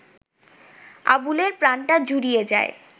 আবুলের প্রাণটা জুড়িয়ে যায়